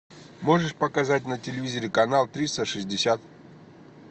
можешь показать на телевизоре канал триста шестьдесят